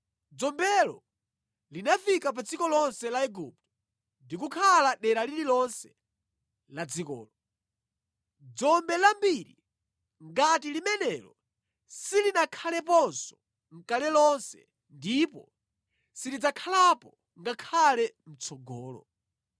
Dzombelo linafika pa dziko lonse la Igupto ndi kukhala dera lililonse la dzikolo. Dzombe lambiri ngati limenelo silinakhaleponso nʼkale lonse ndipo silidzakhalapo ngakhale mʼtsogolo.